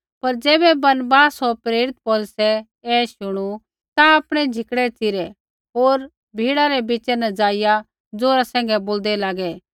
पर ज़ैबै बरनबास होर प्रेरित पौलुसै ऐ शुणू ता आपणै झिकड़ै च़िरै होर भीड़ा बिच़ै ज़ाइआ ज़ोरा सैंघै बोलदै लागै